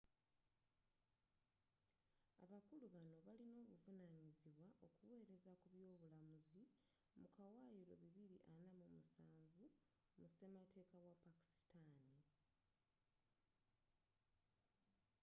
abakulu bano balin'obuvanyizibwa okuwelezza ku by'obulamuzzu mu kawayiro bibiri ana mu musanvu 247 mu sematekka wa pakistani